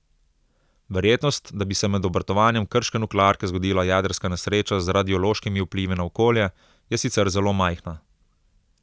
Verjetnost, da bi se med obratovanjem krške nuklearke zgodila jedrska nesreča z radiološkimi vplivi na okolje, je sicer zelo majhna.